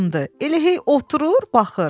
Elə hey oturur, baxır.